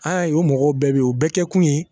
Aa o mɔgɔw bɛɛ bɛ yen o bɛɛ kɛkun ye